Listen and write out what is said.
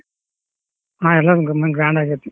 ಹಾ ಎಲ್ಲಾರ್ grand ಆಗೇತಿ.